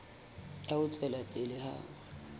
ya ho tswela pele ha